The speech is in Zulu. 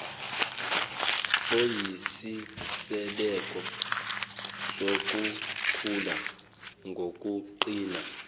oyisisekelo sokukhula ngokuqina